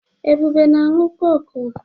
Ebube na-aṅụ kọ́kụ́.